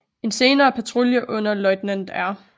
En senere patrulje under løjtnant R